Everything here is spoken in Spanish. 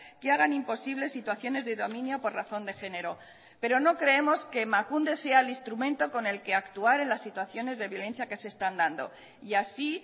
que hagan imposibles situaciones de dominio por razón de género pero no creemos que emakunde sea el instrumento con el que actuar en las situaciones de violencia que se están dando y así